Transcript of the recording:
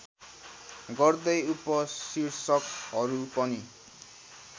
गर्दै उपशीर्षकहरू पनि